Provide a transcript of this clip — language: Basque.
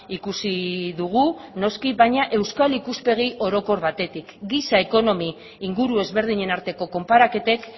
ikusi dugu noski baina euskal ikuspegi orokor batetik giza ekonomi inguru ezberdinen arteko konparaketek